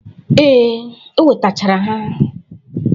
Ee, o wetachara ha.